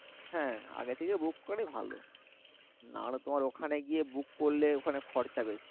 হ্যাঁ আগে থেকে book করাটাই ভালো না হলে তোমার ওখানে গিয়ে book করলে তোমার খরচা বেশি